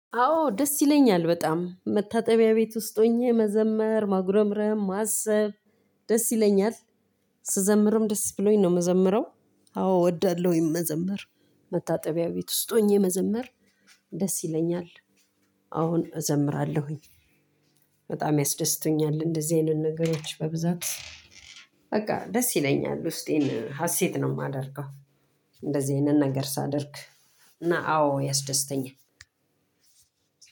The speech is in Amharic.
አዎ ደስ ይለኛል በጣም መታጠቢያ ቤት ውስጥ ሁኜ መዘመር ማጉረምረም ማሰብ ደስ ይለኛል ስዘምርም ደስ ብሎኝ ነው የምዘምረው። አዎ እወዳለሁኝ መዘመር። መታጠቢያ ቤት ውስጥ ሆኜ መዘመር። ደስ ይለኛል አዎን እዘምራለሁኝ። በጣም ያስደስቶኛል እንደዚህ አይነት ነገሮች በብዛት በቃ ደስ ይለኛል ውስጤን ሀሴት ነው የማደርገው። እንደዚህ አይነት ነገር ሳደርግ እና አዎ ያስደስተኛል።